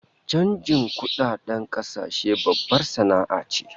Chanjin kudadedn kasashe babbar sana'a ce